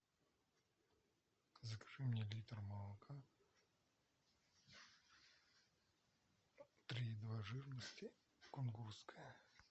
закажи мне литр молока три и два жирности кунгурское